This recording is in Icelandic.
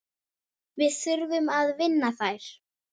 Við þurfum að vinna þær.